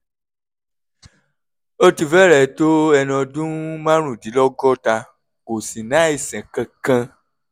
ó ti fẹ́rẹ̀ẹ́ tó ẹni ọdún márùndínlọ́gọ́ta kò sì ní àìsàn kankan